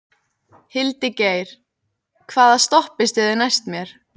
Hildigeir, hvaða stoppistöð er næst mér?